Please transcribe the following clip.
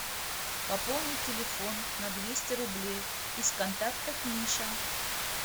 пополнить телефон на двести рублей из контактов миша